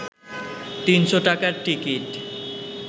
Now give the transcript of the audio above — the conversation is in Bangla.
৩০০ টাকার টিকিট